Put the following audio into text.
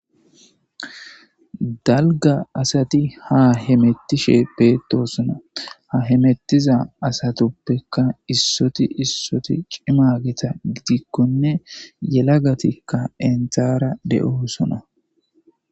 Dalga asat ha hemetishe betosona, ha hemetiza asatuppeka issot issoti cima gidikonne yelagatika enta de'osona.